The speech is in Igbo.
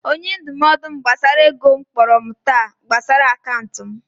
Onye ndụmọdụ m gbasara ego kpọrọ m taa gbasara akaụntụ m